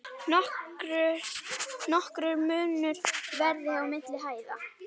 Nokkur munur verði milli hæða.